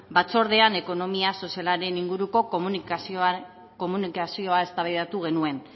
batzordean ekonomia sozialaren inguruko komunikazioaz eztabaidatu genuen